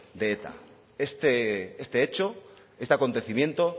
de eta este hecho este acontecimiento